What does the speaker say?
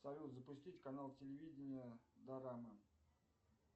салют запустить канал телевидения дорама